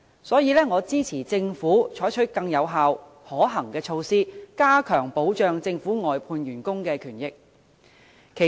所以，我支持政府採取更有效、可行的措施，加強保障政府外判員工的權益。